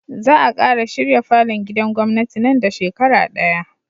Za a kara shirya falon gidan gwamnati nan da shekara daya